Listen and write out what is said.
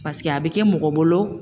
Paseke a bɛ kɛ mɔgɔ bolo